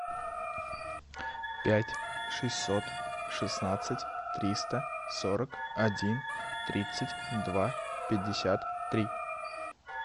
пять шестьсот шестнадцать триста сорок один тридцать два пятьдесят три